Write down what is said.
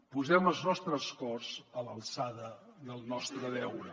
posem els nostres cors a l’alçada del nostre deure